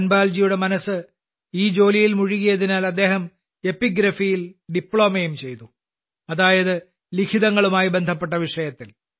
ധൻപാൽജിയുടെ മനസ്സ് ഈ ജോലിയിൽ മുഴുകിയതിനാൽ അദ്ദേഹം എപ്പിഗ്രഫിയിൽ ഡിപ്ലോമയും ചെയ്തു അതായത് ലിഖിതങ്ങളുമായി ബന്ധപ്പെട്ട വിഷയത്തിൽ